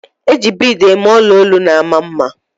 I ji biid eme ọla olu na-ama mma.